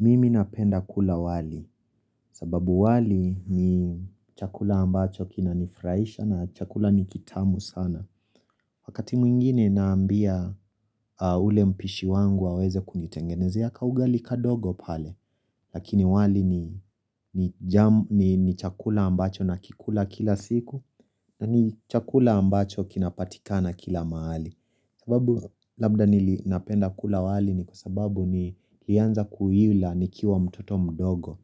Mimi napenda kula wali, sababu wali ni chakula ambacho kinanifurahisha na chakula ni kitamu sana. Wakati mwingine naambia ule mpishi wangu aweze kunitengenezea kaugali kadogo pale. Lakini wali ni chakula ambacho nakikula kila siku na ni chakula ambacho kinapatika kila mahali. Sababu labda nili napenda kula wali ni kwa sababu niliaza kuila nikiwa mtoto mdogo